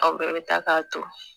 Aw bɛɛ bɛ taa k'a to